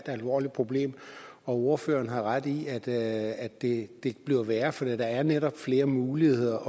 alvorligt problem og ordføreren har ret i at at det bliver værre for der er netop flere muligheder